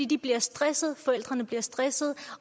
de bliver stressede forældrene bliver stressede